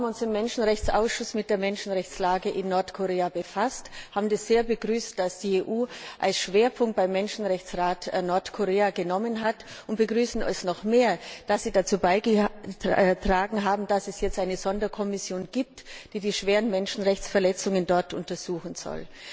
Wir haben uns im Menschenrechtsausschuss mit der Menschenrechtslage in Nordkorea befasst und haben es sehr begrüßt, dass die EU als Schwerpunkt beim Menschenrechtsrat Nordkorea gewählt hat. Wir begrüßen es noch mehr, dass Sie dazu beigetragen haben, dass es jetzt eine Sonderkommission gibt, die die schweren Menschenrechtsverletzungen dort untersuchen soll.